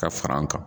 Ka fara an kan